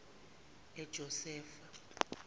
ejosefa